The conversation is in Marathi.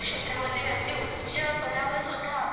क्षेत्रामध्ये अगदी उच्च पदावर सुद्धा